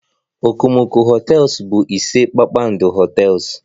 Okomoko hotels bụ ise kpakpando hotels